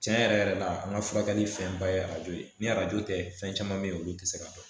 Tiɲɛ yɛrɛ yɛrɛ la an ka furakɛli fɛnba ye arajo ye ni arajo tɛ fɛn caman bɛ ye olu tɛ se ka dɔn